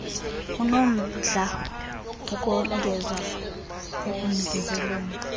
anomdla ukongeza ekunikezeleni